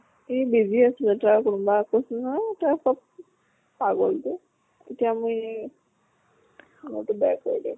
সি busy আছিলে তাৰ কোনবা কৈছো নহয় পাগল টো এতিয়া মই মই কৰিলো।